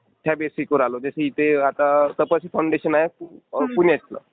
त्या बेसिसवर आलोय. जसं इथे आता तपस फाऊंडेशन आहे पुण्यातलं.